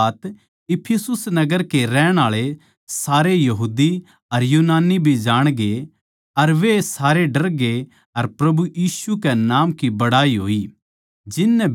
या बात इफिसुस नगर के रहण आळे सारे यहूदी अर यूनानी भी जाणगे अर वे सारे डरगे अर प्रभु यीशु कै नाम की बड़ाई होई